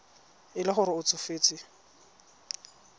e le gore o tsofetse